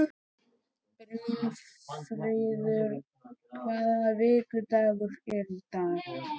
Brynfríður, hvaða vikudagur er í dag?